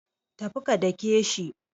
Tafi ka dake shi.